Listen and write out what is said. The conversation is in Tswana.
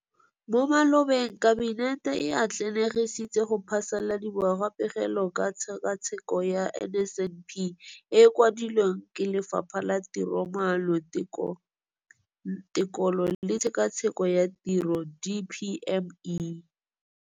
Mo malobeng Kabinete e atlenegisitse go phasaladiwa ga Pegelo ka Tshekatsheko ya NSNP e e kwadilweng ke Lefapha la Tiromaano, Tekolo le Tshekatsheko ya Tiro DPME.